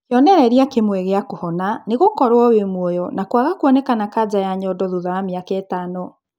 Kĩonereria kĩmwe gĩa kũhona nĩ gũkorwo wĩ muoyo na kwaga kuonekanana kanja ya nyondo thutha wa mĩaka ĩtano